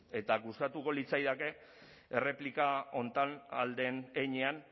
eta gustatuko litzaidake erreplika honetan ahal den heinean